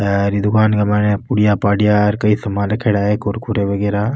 हेर ई दुकान के मायने पुड़िया पाडिया कई सामान रखेड़ा है कुरकुरे वगेरा।